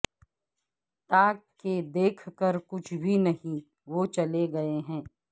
تاکہ دیکھ کر کچھ بھی نہیں وہ چلے گئے ہیں